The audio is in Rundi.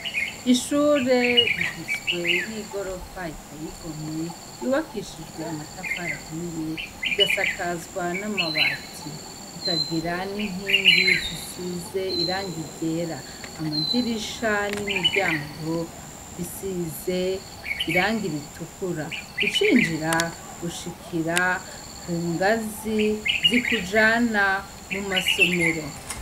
Ishure rigizwe n'igorofa itayigomwe, yubakishijwe amatafarahiye igasakazwa n'amabati, ikagira n'inkingi zisize iranga igera, amadirisha n'imiryango bisize irangi ritukura ucinjira ushikira ku ngazi z'ikujana mu masomero.